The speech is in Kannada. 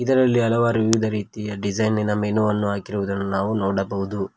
ಇದರಲ್ಲಿ ಹಲವಾರು ವಿವಿಧ ರೀತಿಯ ಡಿಸೈನಿ ನ ಮೆನುವನ್ನು ಹಾಕಿರುವುದನ್ನು ನಾವು ನೋಡಬಹುದು.